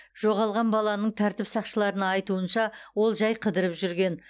жоғалған баланың тәртіп сақшыларына айтуынша ол жәй қыдырып жүрген